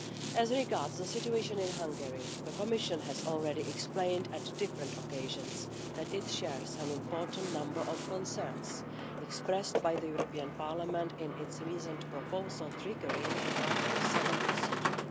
As regards the situation in Hungary, the Commission has already explained on different occasions that it shares an important number of concerns expressed by the European Parliament in its recent proposal triggering the Article 7 procedure.